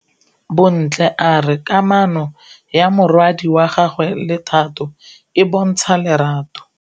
Bontle a re kamanô ya morwadi wa gagwe le Thato e bontsha lerato.